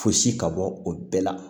Fosi ka bɔ o bɛɛ la